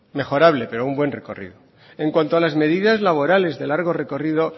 mejorable pero un buen recorrido en cuanto a las medidas laborales de largo recorrido